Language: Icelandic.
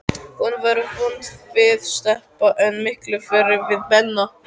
Hún var vond við Stebba, en miklu verri við Benna.